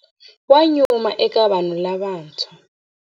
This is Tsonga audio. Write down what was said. Wa nyuma eka vanhu lavantshwa.